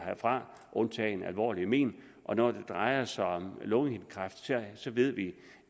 fra undtagen med alvorlige mén når det drejer sig om lungehindekræft ved vi